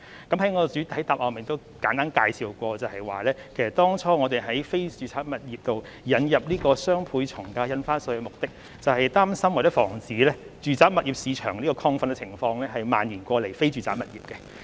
其實我在主體答覆已作簡單介紹，當初我們就非住宅物業引入雙倍從價印花稅的目的，是擔心或防止住宅物業市場的亢奮情況蔓延至非住宅物業。